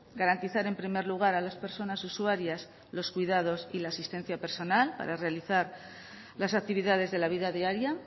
garantizar en primer lugar a las personas usuarias los cuidados y la asistencia personal para realizar las actividades de la vida diaria